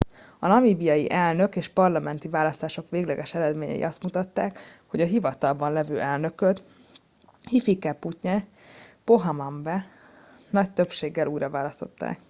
a namíbiai elnök és parlamenti választások végleges eredményei azt mutatták hogy a hivatalban lévő elnököt hifikepunye pohamba t nagy többséggel újraválasztották